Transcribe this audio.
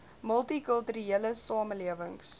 multi kulturele samelewings